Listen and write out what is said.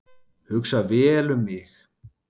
Hugsa vel um mig